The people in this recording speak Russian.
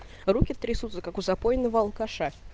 руки трясутся как у запойного алкаша